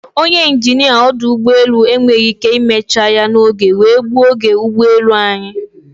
Ọnye injinia ọdụ ụgbọelụ enweghị ike imecha ya n'oge wee gbuo oge ụgbọelu anyị.